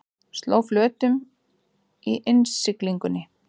Sló flötum í innsiglingunni